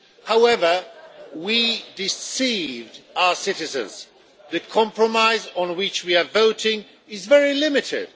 However, we deceived our citizens the compromise on which we are voting is very limited.